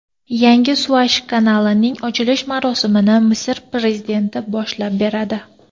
Yangi Suvaysh kanalining ochilish marosimini Misr prezidenti boshlab beradi.